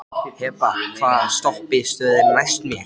Hebba, hvaða stoppistöð er næst mér?